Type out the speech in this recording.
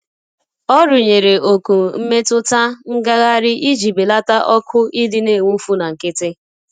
Ọ rụnyere oku mmetụta ngagharị iji belata ọkụ idi n'enwufu na nkịtị.